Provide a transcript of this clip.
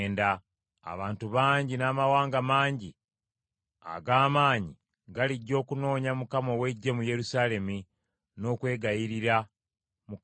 Abantu bangi n’amawanga mangi ag’amaanyi galijja okunoonya Mukama ow’Eggye mu Yerusaalemi n’okwegayirira Mukama .”